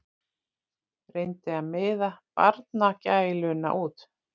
Reyndi að miða barnagæluna út.